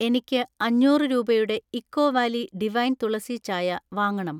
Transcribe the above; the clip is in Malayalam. എനിക്ക് അഞ്ഞൂറ് രൂപയുടെ ഇക്കോ വാലി ഡിവൈൻ തുളസി ചായ വാങ്ങണം.